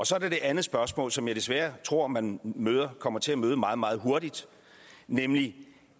så er der det andet spørgsmål som jeg desværre tror man kommer til at møde meget meget hurtigt nemlig